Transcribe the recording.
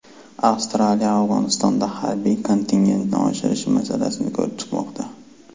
Avstraliya Afg‘onistonda harbiy kontingentni oshirish masalasini ko‘rib chiqmoqda.